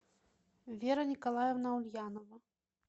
вера николаевна ульянова